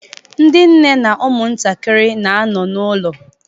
Ndị nne na ụmụntakịrị na-anọ n'ụlọ